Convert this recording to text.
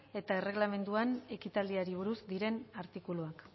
eta erregelamenduan ekitaldiari buruz diren artikuluak